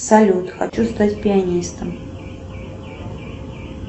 салют хочу стать пианистом